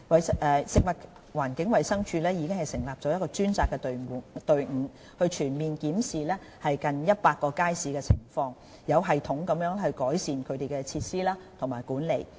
食物環境衞生署已成立專責隊伍，全面檢視現有近100個街市的情況，有系統地改善其設施和管理。